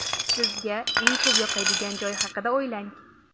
Sizga eng ko‘p yoqadigan joy haqida o‘ylang.